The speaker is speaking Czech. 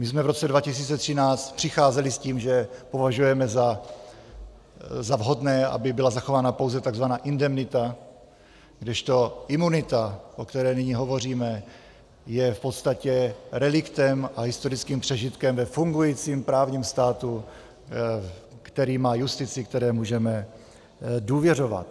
My jsme v roce 2013 přicházeli s tím, že považujeme za vhodné, aby byla zachována pouze tzv. indemnita, kdežto imunita, o které nyní hovoříme, je v podstatě reliktem a historickým přežitkem ve fungujícím právním státu, který má justici, které můžeme důvěřovat.